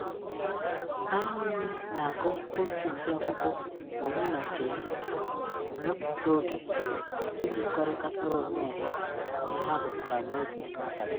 Ha niile na-agụ otu ụdị akwụkwọ onye na nke ya, ma wepụta oge iji kọrịkọtara onwe ha ihe ha gụtara n'oge nri abalị